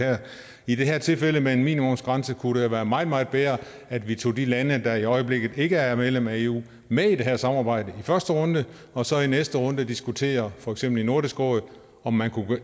i det her tilfælde med en minimumsgrænse jo kunne være meget meget bedre at vi tog de lande der i øjeblikket ikke er medlemmer af eu med i det her samarbejde i første runde og så i næste runde diskuterer for eksempel i nordisk råd om man